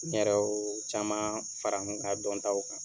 N yɛrɛ o caman fara n ka dɔntaw kan.